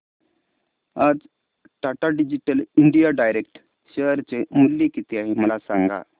आज Tata digital India direct share चे मूल्य किती आहे मला सांगा